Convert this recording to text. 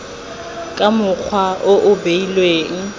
ka mokgwa o o beilweng